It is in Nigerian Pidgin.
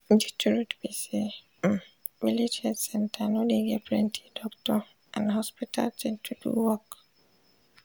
de truth be say um village health center no dey get plenti doctor and hospital thing to do work